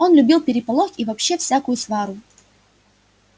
он любил переполох и вообще всякую свару